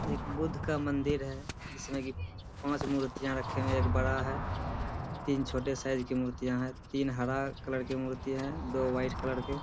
एक बुद्ध का मंदिर है जिसमें कि पाँच मूर्तिया रखे हुए है एक बड़ा है तीन छोटे साइज़ की मूर्तियां हैं तीन हरा कलर कि मूर्तिया है दो व्हाइट कलर के --